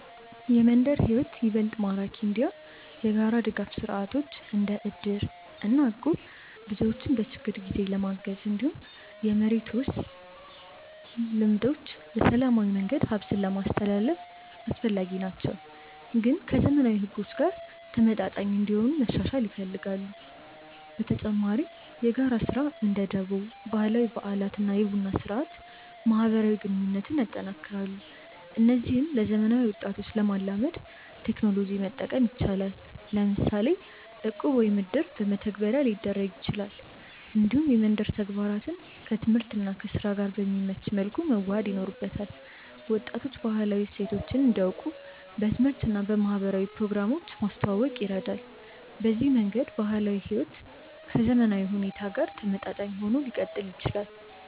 የመንደር ሕይወት ይበልጥ ማራኪ እንዲሆን የጋራ ድጋፍ ስርዓቶች እንደ እድር እና እቁብ ሰዎችን በችግር ጊዜ ለማገዝ፣ እንዲሁም የመሬት ውርስ ልምዶች በሰላማዊ መንገድ ሀብትን ለማስትላልፍ አስፈላጊ ናቸው፣ ግን ከዘመናዊ ሕጎች ጋር ተመጣጣኝ እንዲሆኑ መሻሻል ይፈልጋሉ። በተጨማሪ የጋራ ስራ (እንደ ደቦ)፣ ባህላዊ በዓላት እና የቡና ስርአት ማህበራዊ ግንኙነትን ያጠናክራሉ። እነዚህን ለዘመናዊ ወጣቶች ለማላመድ ቴክኖሎጂ መጠቀም ይቻላል፤ ለምሳሌ እቁብ ወይም እድር በመተግበሪያ ሊደረግ ይችላል። እንዲሁም የመንደር ተግባራትን ከትምህርት እና ከስራ ጋር በሚመች መልኩ መዋሃድ ይኖርበታል። ወጣቶች ባህላዊ እሴቶችን እንዲያውቁ በትምህርት እና በማህበራዊ ፕሮግራሞች ማስተዋወቅ ይረዳል። በዚህ መንገድ ባህላዊ ሕይወት ከዘመናዊ ሁኔታ ጋር ተመጣጣኝ ሆኖ ሊቀጥል ይችላል።